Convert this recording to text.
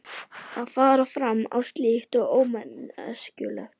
Að fara fram á slíkt sé ómanneskjulegt.